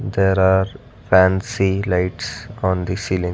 There are fancy lights on the ceiling.